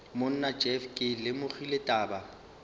monna jeff ke lemogile taba